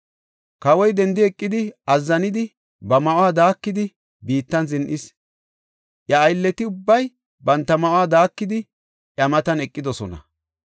Kawoy dendi eqidi, azzanidi, ba ma7uwa daakidi biittan zin7is. Iya aylleti ubbay banta ma7uwa daakidi, iya matan eqidosona.